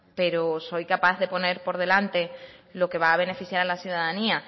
pero soy capaz de poner por delante lo que va a beneficiar a la ciudadanía